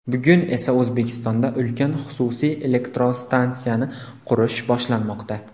Bugun esa O‘zbekistonda ulkan xususiy elektrostansiyani qurish boshlanmoqda.